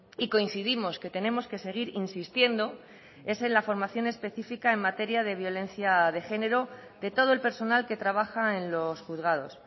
y coincidimos que tenemos que seguir insistiendo es en la formación específica en materia de violencia de género de todo el personal que trabaja en los juzgados